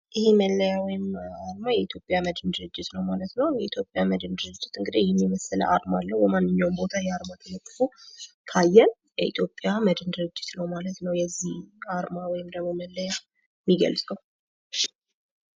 ይህ መለያ ወይም አርማ የኢትዮጵያ መድኅን ድርጅት ነው ማለት ነው ። የኢትዮጵያ መድኅን ድርጅት እንግዲህ ይህን የመሰለ አርማ አለው ። በማንኛውም ቦታ ይህ አርማ ተለጥፎ ካየን የኢትዮጵያ መድኅን ድርጅት ነው ማለት ነው የዚህ አርማ ወይም ደግሞ መለያ ሚገልፀው።